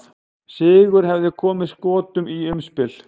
Sigur hefði komið Skotum í umspil.